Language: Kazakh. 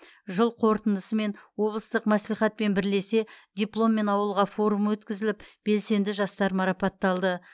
жыл қорытындысымен облыстық мәслихатпен бірлесе дипломмен ауылға форумы өткізіліп белсенді жастар марапатталды